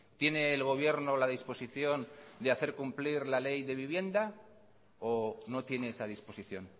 tiene el gobierno la disposición de hacer cumplir la ley de vivienda o no tiene esa disposición